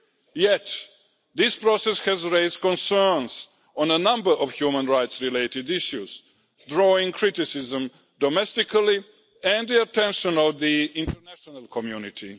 Yet this process has raised concerns on a number of human rights-related issues, drawing criticism domestically and the attention of the international community.